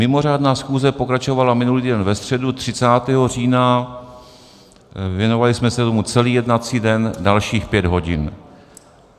Mimořádná schůze pokračovala minulý týden ve středu 30. října, věnovali jsme se tomu celý jednací den, dalších pět hodin.